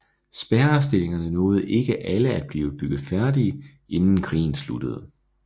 Spærrestillingerne nåede ikke alle at blive bygget færdige inden krigen sluttede